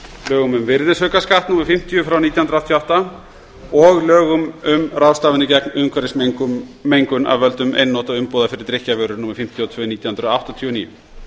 lögum um virðisaukaskatt númer fimmtíu nítján hundruð áttatíu og átta og lögum um ráðstafanir gegn umhverfismengun af völdum einnota umbúða fyrir drykkjarvörur númer fimmtíu og tvö nítján hundruð áttatíu og níu